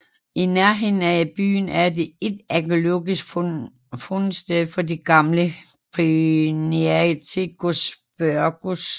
I nærheden af byen er der et arkæologisk fundsted for det gamle Priniatikos Pyrgos